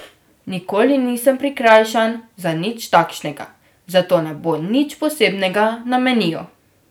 Nikoli nisem prikrajšan za nič takšnega, zato ne bo nič posebnega na meniju.